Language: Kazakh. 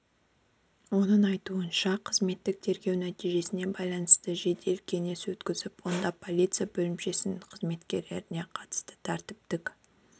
оның айтуынша қызметтік тергеу нәтижесіне байланысты жедел кеңес өткізіліп онда полиция бөлімшесінің қызметкеріне қатысты тәртіптік